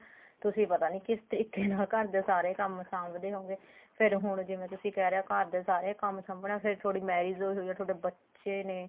ਤੁਸੀਂ ਪਤਾ ਨੀ ਕਿਸ ਤਰੀਕੇ ਨਾਲ ਘਰਦੇ ਸਾਰੇ ਕੰਮ ਸਾਂਭਦੇ ਹੋਉਂਗੇ ਫੇਰ ਹੁਣ ਜਿਵੇਂ ਤੁਸੀਂ ਕਹਿ ਰਹੇ ਓ ਘਰ ਦੇ ਸਾਰੇ ਕੰਮ ਸਾਂਬਣਾ ਫੇਰ ਤੁਹਾਡੀ marriage ਹੋਈ ਹੋਈ ਏ ਤੁਹਾਡੇ ਬੱਚੇ ਨੇ